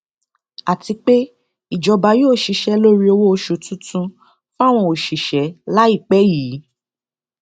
àti pé ìjọba yóò ṣiṣẹ lórí owóoṣù tuntun fáwọn òṣìṣẹ láìpẹ yìí